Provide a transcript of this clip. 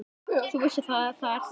Þú vissir það, er það ekki?